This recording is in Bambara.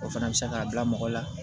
O fana bɛ se k'a bila mɔgɔ la